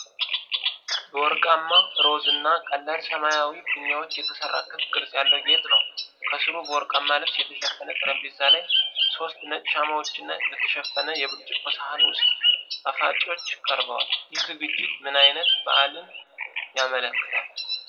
በወርቃማ፣ ሮዝ እና ቀላል ሰማያዊ ፊኛዎች የተሠራ ክብ ቅርጽ ያለው ጌጥ ነው። ከስሩ በወርቃማ ልብስ የተሸፈነ ጠረጴዛ ላይ ሶስት ነጭ ሻማዎችና በተሸፈነ የብርጭቆ ሳህን ውስጥ ጣፋጮች ቀርበዋል፤ ይህ ዝግጅት ምን ዓይነት በዓልን ያመለክታል?